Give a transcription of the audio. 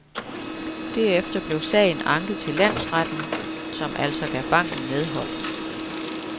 Derefter blev sagen anket til landsretten, som altså gav banken medhold.